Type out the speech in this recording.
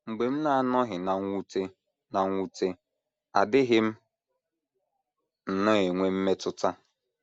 Mgbe m na - anọghị ná mwute ná mwute, adịghị m nnọọ enwe mmetụta.